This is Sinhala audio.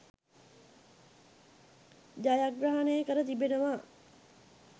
ජයග්‍රහණය කර තිබෙනවා.